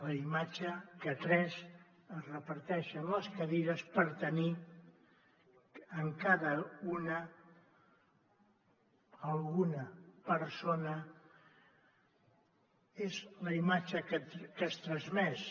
la imatge que tres es reparteixen les cadires per tenir en cada una alguna persona és la imatge que es transmet